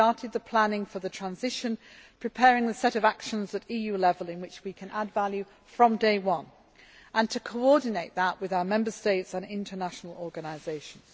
crisis. We have started the planning for the transition, preparing the set of actions at EU level in which we can add value from day one and to coordinate that with our Member States and international organisations.